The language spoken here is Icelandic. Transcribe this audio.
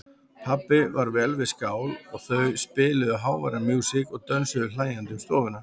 Pabbi var vel við skál og þau spiluðu háværa músík og dönsuðu hlæjandi um stofuna.